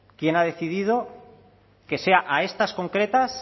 quién ha decidido que sea a estas concretas